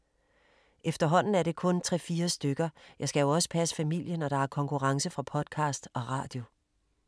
Efterhånden er det kun tre-fire stykker. Jeg skal jo også passe familien og der er konkurrence fra podcast og radio.